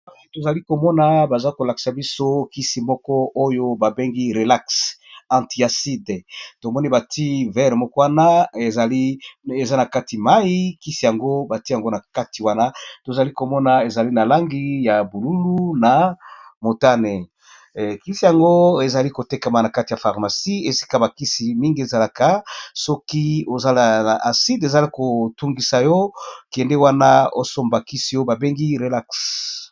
Awa tozalikomona bazakolakisa biso kisi ba bengi relax tomoni batiye verre moko eza na kati mayi kisi yango batiye nakati ya mayi tozali komona eza na langi bonzinga, motane kisi yango ezo kotekama nakati ya pharmacie esika bakisimingi ezalaka.